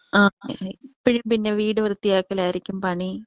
ആ എപ്പഴും പിന്നെ വീട് വൃത്തിയാക്കലായിരിക്കും പണി.